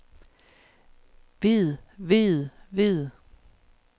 ved ved ved